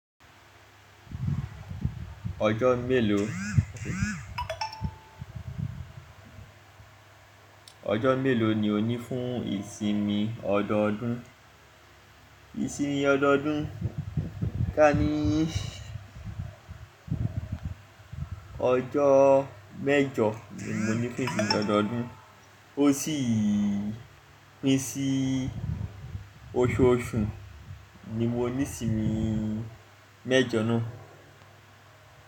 Ọjọ́ mélòó, ọjọ́ mélòó ni o ní fún ìsinmi ọdọọdún? Ìsinmi ọdọọdún, ká ní ọjọ́ mẹ́jọ ni mo ní fún ìsinmi ọdọọdún, ó sì pín sí oṣooṣù ni mo ní ìsinmi mẹ́jọ náà.